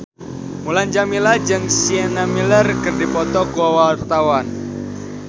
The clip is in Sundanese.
Mulan Jameela jeung Sienna Miller keur dipoto ku wartawan